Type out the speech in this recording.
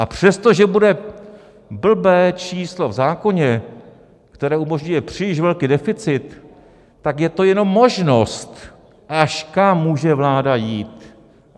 A přesto, že bude blbé číslo v zákoně, které umožňuje příliš velký deficit, tak je to jenom možnost, kam až může vláda jít.